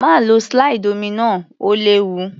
Má lo slide omi náà, ó léwu.